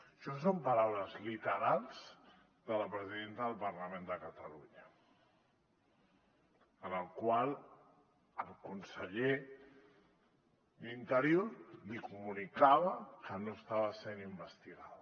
això són paraules literals de la presidenta del parlament de catalunya amb les quals el conseller d’interior li comunicava que no estava sent investigada